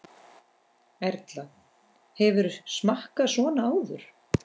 Erla: Hefurðu smakkað svona áður?